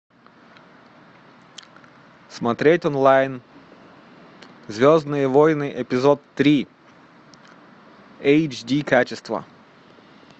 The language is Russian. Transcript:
смотреть онлайн звездные войны эпизод три эйч ди качество